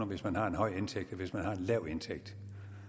hvis man har en høj indtægt end hvis man har en lav indtægt